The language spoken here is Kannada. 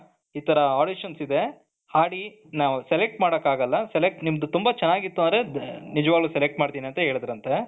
ಇತರ audition ಇದೆ ಹಾಡಿ ನಾವ್ select ಮಾಡಕ್ಕಾಗದಿಲ್ಲ select ನಿಮ್ದು ತುಂಬಾ ಚೆನ್ನಾಗಿತ್ತು ಅಂದ್ರೆ ನಿಜವಾಗಲೂ select ಮಾಡ್ತೀನಿ ಅಂತ ಹೇಳಿದ್ರಂತೆ.